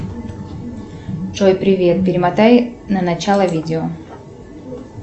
джой привет перемотай на начало видео